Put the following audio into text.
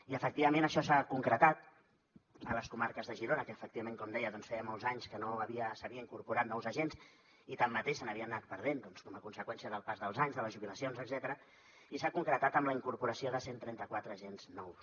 i efectivament això s’ha concretat a les comarques de girona que efectivament com deia doncs feia molts anys que no havia s’hi havia incorporat nous agents i tanmateix se n’havia anat perdent com a conseqüència del pas dels anys de les jubilacions etcètera i s’ha concretat amb la incorporació de cent i trenta quatre agents nous